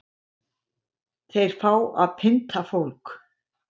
Þeir fá að pynta fólk